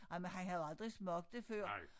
Ej men han havde aldrig smagt det før